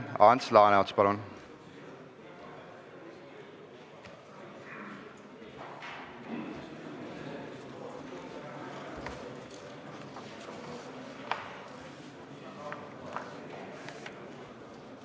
Ants Laaneots, palun!